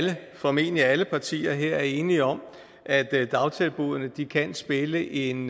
formentlig alle partier her er enige om at at dagtilbuddene kan spille en